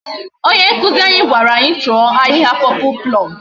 Onye nkuzi anyi gwara anyi cho ahihia purple plume